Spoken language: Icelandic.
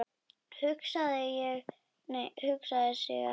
Hugsaði sig ekki um!